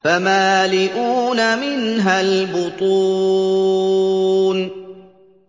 فَمَالِئُونَ مِنْهَا الْبُطُونَ